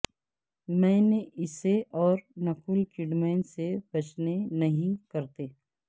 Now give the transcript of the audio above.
میں نے اسے اور نکول کڈمین سے بچنے نہیں کرتے